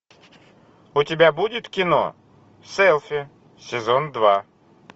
у тебя будет кино селфи сезон два